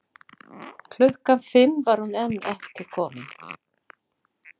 Klukkan fimm var hún enn ekki komin.